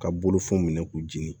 Ka bolofɛnw minɛ k'u dimi